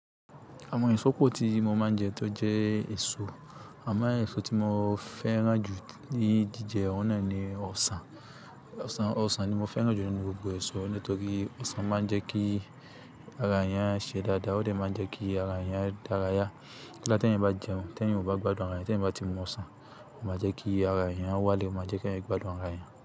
Àwọn èso pò tí mo máa ń jẹ tó jẹ́ èso. Àmo èso tí mo fẹ́ràn jù ní jíjẹ, ọ̀un nà ni ọsàn. Ọsàn, ọsàn ni mo fẹ́ràn jù nínú gbogbo èso nítorí ọsàn máa ń jẹ kí ara èèyàn ṣe dáadáa, ó de máa ń jẹ kí ara èèyàn dárayá. Nigba tí eeyan bá jẹun, tí ẹ̀eyan ò bá gbádùn ara ẹ̀eyan, tí ẹeyan bá ti mu ọsàn, ó máa jẹ́ kí ara ẹ̀eyan wálẹ̀, ó máa jẹ́ kí eeyan gbádùn ara ẹ̀eyan.